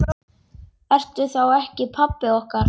Ertu þá ekki pabbi okkar?